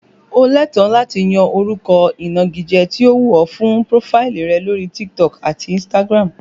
O lẹ́tọ̀ọ́ láti yan orúkọ ìnagijẹ tí ó wù ọ fún prófáìlì rẹ lórí TikTok àti Instagram